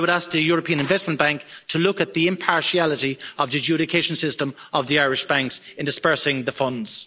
So I would ask the European Investment Bank to look at the impartiality of the adjudication system of the Irish banks in disbursing the funds.